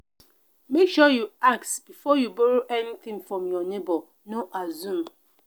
make sure you ask before you borrow anything from your neighbor no assume.